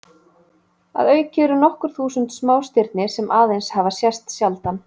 Að auki eru nokkur þúsund smástirni sem aðeins hafa sést sjaldan.